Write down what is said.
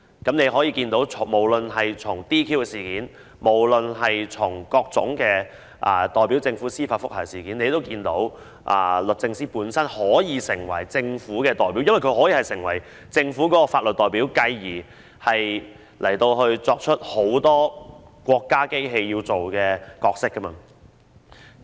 大家可以看到，從 "DQ" 事件或各宗律政司代表政府進行司法覆核的案件中可見，律政司可以成為政府的代表，而既然它可以成為政府的法律代表，它便可發揮很多國家機器所擔當的角色。